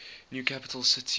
new capital city